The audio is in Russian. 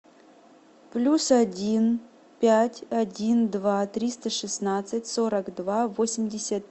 плюс один пять один два триста шестнадцать сорок два восемьдесят